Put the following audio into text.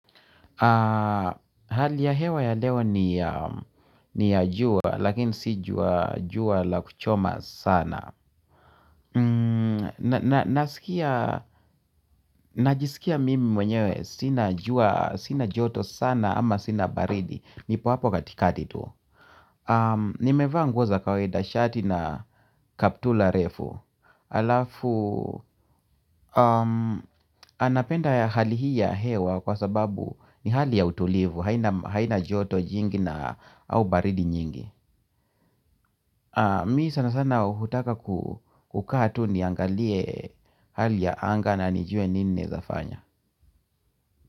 Hali ya hewa ya leo ni ya jua lakini si jua jua la kuchoma sana. Najisikia mimi mwenyewe sina jua, sina joto sana ama sina baridi. Nipo hapo katikati tu. Nimevaa nguo za kawaida shati na kaptula refu. Halafu, anapenda hali hii ya hewa kwa sababu ni hali ya utulivu. Haina joto jingi na au baridi nyingi Mi sana sana hutaka kukaa tu niangalie hali ya anga na nijue ninaezafanya.